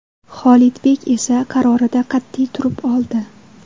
Xolidbek esa qarorida qat’iy turib oldi.